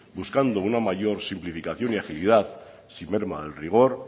buscando una mayor simplificación y agilidad sin merma al rigor